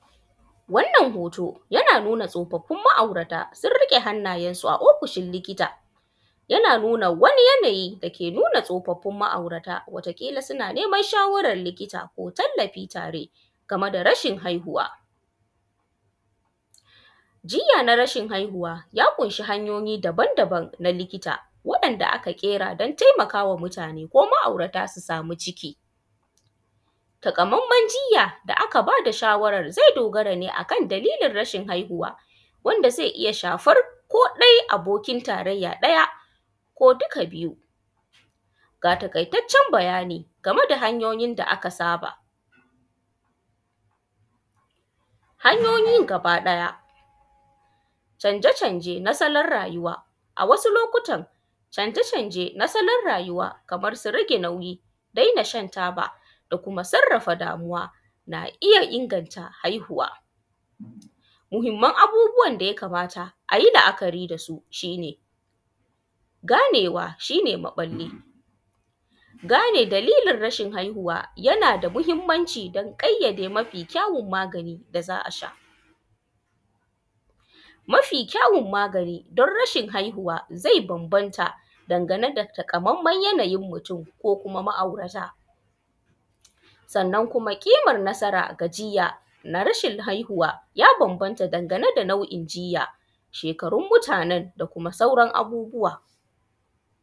Wannan hoto yana nuna tsofaffin ma’aurata sunriƙe hannayensu a ofishin likita yana nuna wani yanayi dake nuna tsofaffin ma’aurata wata ƙila suna neman shawaran likita ko tallafi tare game da rashin haihuwa. Jiya na rashin haihuwa ya ƙunshi hanyoyi daban-daban likita wanda aka ƙera don tallafawa mutane ma’aurata su sama ciki takamanmen jiya da aka ba da shawaran ya dogara ne akan rashin haihuwa wanda zai iya shafan ko ɗai abokin tarayya ɗaya ko duka biyun. Ga taƙaitaccen bayani game da hanyoyin da aka saba, hanyoiyin gaba ɗaya, canje-canje na rayuwa a wasu lokutan canje-canje na tsawon rayuwa kamar nasu rage nauyi, dena shan taba da kuma sarrafa damuwa na iya inganta haihuwa, muhinman abubuwan da ya kamata a yi la’akari da su shi ne: ganewa shi ne mafari gane dalilin rashin haihuwa yana da mahinmanci don ƙayyade mafi kyawon magani da za a sha, mafi kyawon magani don rashin haihuwa zai bambanta dangane da takamanmaen yanayin mutum ko kuma ma’aurata. Sannan kuma cimma nasara ga jiya na rashin haihuwa ya bambanta danagane da nau’in jiya, shekarun mutanen da kuma sauran abubuwa.